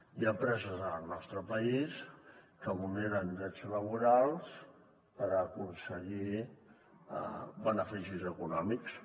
hi ha empreses en el nostre país que vulneren drets laborals per aconseguir beneficis econòmics